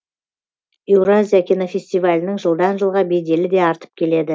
еуразия кинофестивалінің жылдан жылға беделі де артып келеді